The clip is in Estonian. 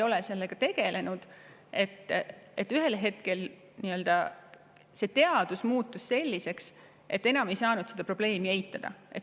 Üldises plaanis ma arvan, et ühel hetkel muutus see teadmus selliseks, et enam ei saanud seda probleemi eitada.